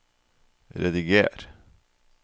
rediger